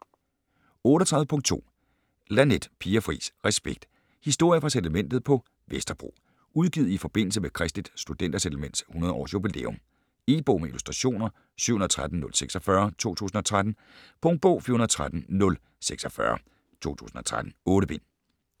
38.2 Laneth, Pia Fris: Respekt: historier fra Settlementet på Vesterbro Udgivet i forbindelse med Kristeligt Studenter Settlements 100 års jubilæum. E-bog med illustrationer 713046 2013. Punktbog 413046 2013. 8 bind.